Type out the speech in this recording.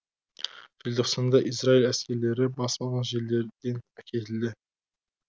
желтоқсанда израиль әскерлері басып алған жерлерден әкетілді